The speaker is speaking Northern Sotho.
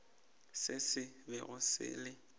se se bego se le